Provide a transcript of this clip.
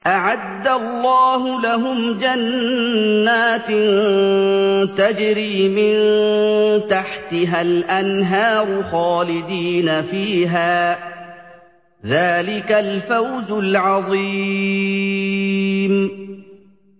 أَعَدَّ اللَّهُ لَهُمْ جَنَّاتٍ تَجْرِي مِن تَحْتِهَا الْأَنْهَارُ خَالِدِينَ فِيهَا ۚ ذَٰلِكَ الْفَوْزُ الْعَظِيمُ